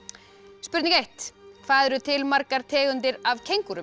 spurning eitt hvað eru til margar tegundir af